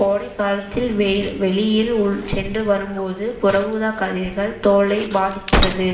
கோடைக்காலத்தில் வெ~ வெளியில் உள் சென்று வரும்போது புற ஊதா கதிர்கள் தோலை பாதிக்கிறது